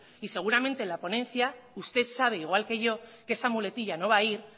y seguramente la ponencia usted sabe igual que yo que esa muletilla no va a ir